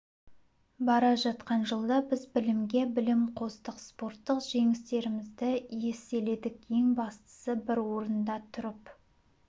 бара жатқан жылда біз білімге білім қостық спорттық жеңістерімізді еселедік ең бастысы бір орында тұрып